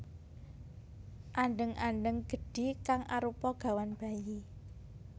Andheng andheng gedhi kang arupa gawan bayi